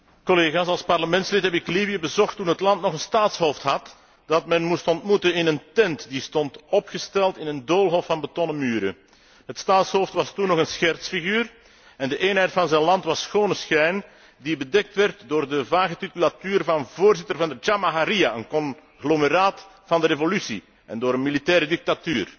Als parlementslid heb ik Libië bezocht toen het land nog een staatshoofd had dat men moest ontmoeten in een tent, die stond opgesteld in een doolhof van betonnen muren. Het staatshoofd was toen nog een schertsfiguur en de eenheid van zijn land was schone schijn, die bedekt werd door de vage titulatuur van voorzitter van de Jamaharia, een conglomeraat van de revolutie, en door een militaire dictatuur.